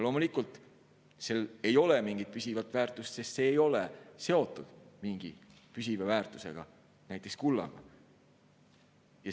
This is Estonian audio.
Loomulikult ei ole sellel mingit püsivat väärtust, sest see ei ole seotud mingi püsiva väärtuse, näiteks kullaga.